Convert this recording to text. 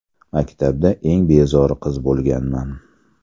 Maktabda eng bezori qiz bo‘lganman.